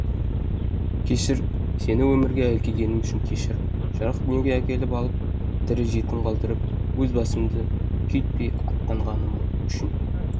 кешір сені өмірге әкелгенім үшін кешір жарық дүниеге әкеліп алып тірі жетім қалдырып өз басымды күйттеп аттанғаным үшін